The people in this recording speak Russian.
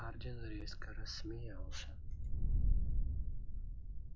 хардин резко рассмеялся